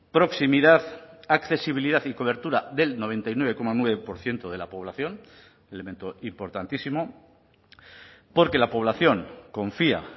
proximidad accesibilidad y cobertura del noventa y nueve coma nueve por ciento de la población elemento importantísimo porque la población confía